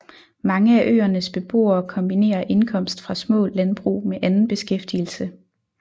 Mange af øernes beboere kombinerer indkomst fra små landbrug med anden beskæftigelse